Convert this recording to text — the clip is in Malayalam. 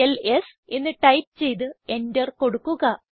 എൽഎസ് എന്ന് ടൈപ്പ് ചെയ്ത് എന്റർ കൊടുക്കുക